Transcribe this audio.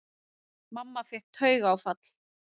Mamma fékk taugaáfall.